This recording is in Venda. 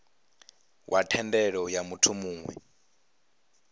wa thendelo ya muthu muwe